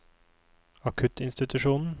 akuttinstitusjonen